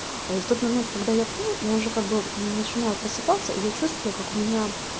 а и в тот момент когда я пью я уже как бы начинаю просыпаться и я чувствую как у меня